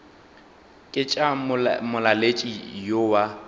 ke tša molaletši yo wa